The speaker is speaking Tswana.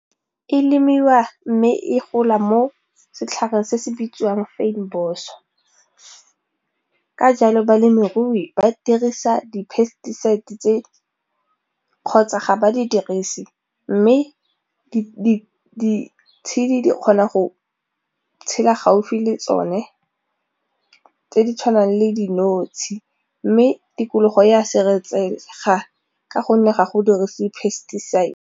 E lemiwa mme e gola mo setlhareng se se bitsiwang ka jalo balemirui ba dirisa di-pesticides tse kgotsa ga ba di dirise mme ditshedi di kgona go tshela gaufi le tsone tse di tshwanang le dinotshe mme tikologo ya ka gonne ga go dirisa di-pesticides.